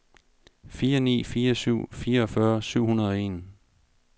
fire ni fire syv fireogfyrre syv hundrede og en